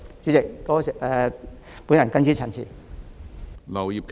主席，我謹此陳辭。